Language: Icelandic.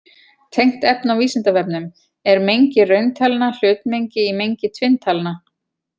Tengt efni á Vísindavefnum: Er mengi rauntalna hlutmengi í mengi tvinntalna?